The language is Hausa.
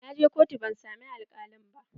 Na je kotu ban samu alkalin ba.